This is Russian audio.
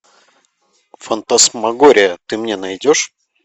фантасмагория ты мне найдешь